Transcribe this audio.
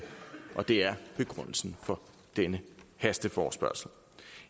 det er begrundelsen for denne hasteforespørgsel